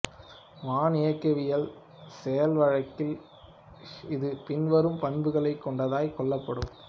வான் இயக்கவியலில் செயல்வழக்கில் இஃது பின்வரும் பண்புகளைக் கொண்டதாய் கொள்ளப்படும்